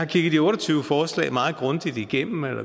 kigget de otte og tyve forslag grundigt igennem og